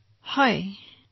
প্ৰধানমন্ত্ৰীঃ একো হোৱা নাই